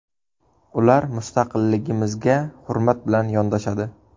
Ular mustaqilligimizga hurmat bilan yondoshadi.